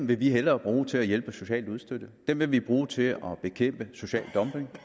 vil vi hellere bruge til at hjælpe socialt udstødte vi vil bruge dem til at bekæmpe social dumping